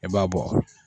I b'a bɔ